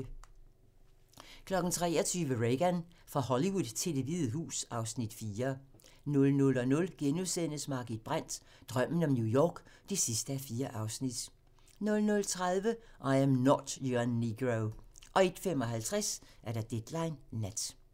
23:00: Reagan - fra Hollywood til Det Hvide Hus (Afs. 4) 00:00: Margit Brandt - Drømmen om New York (4:4)* 00:30: I Am Not Your Negro 01:55: Deadline Nat